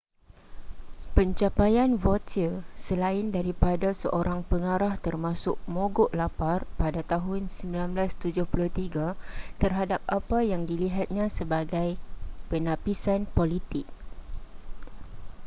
pencapaian vautier selain daripada seorang pengarah termasuk mogok lapar pada tahun 1973 terhadap apa yang dilihatnya sebagai penapisan politik